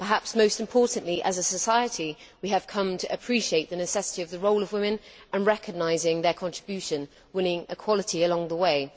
Perhaps most importantly, as a society, we have come to appreciate the necessity of the role of women and to recognise their contribution, winning equality along the way.